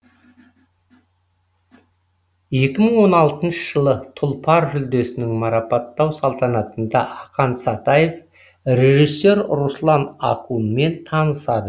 екі мың он алтыншы жылы тұлпар жүлдесінің марапаттау салтанатында ақан сатаев режиссер руслан акунмен танысады